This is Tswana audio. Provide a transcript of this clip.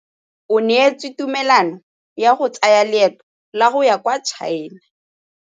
O neetswe tumalanô ya go tsaya loetô la go ya kwa China.